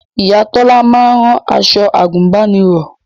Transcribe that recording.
Ìyá Tọ́lá máa ń rán aṣọ àgùnbánirọ̀